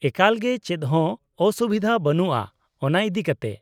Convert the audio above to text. -ᱮᱠᱟᱞᱜᱮ! ᱪᱮᱫᱦᱚᱸ ᱚᱥᱩᱵᱤᱫᱷᱟ ᱵᱟᱹᱱᱩᱜᱼᱟ ᱚᱱᱟ ᱤᱫᱤ ᱠᱟᱛᱮ ᱾